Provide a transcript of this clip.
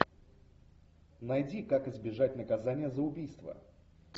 найди как избежать наказания за убийство